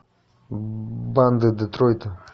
банды детройта